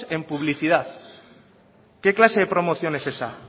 en publicidad qué clase de promoción es esa